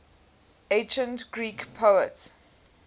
ancient greek poets